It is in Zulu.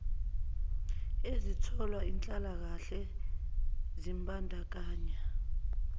ezitholwa yinhlalakahle zimbandakanya